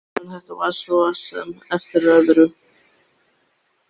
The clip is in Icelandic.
En þetta var svo sem eftir öðru.